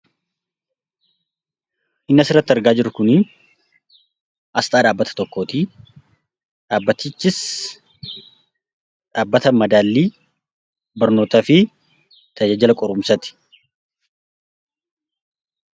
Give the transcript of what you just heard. Inni as irratti argaa jiruu kun Asxaa dhabbata tokko dhabbatichis 'Madaliifi Tajajilaa Qoruumsa'tti.